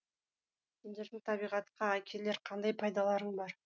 сендердің табиғатқа әкелер қандай пайдаларың бар